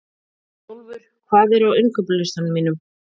Snjólfur, hvað er á innkaupalistanum mínum?